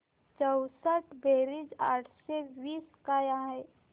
चौसष्ट बेरीज आठशे वीस काय आहे